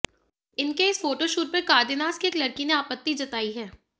इनके इस photo shoot पर कार्देनास की एक लड़की ने आपत्ति जताई है